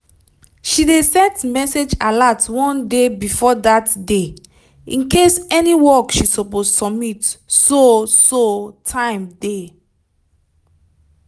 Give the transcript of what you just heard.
she dey set message alert one day before dat day incase any work she suppose submit so so time dey